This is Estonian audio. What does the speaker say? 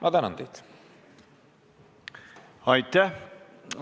Aitäh!